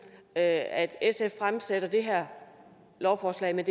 at at sf fremsætter det her lovforslag men